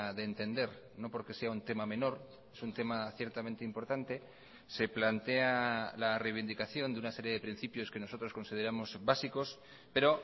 de entender no porque sea un tema menor es un tema ciertamente importante se plantea la reivindicación de una serie de principios que nosotros consideramos básicos pero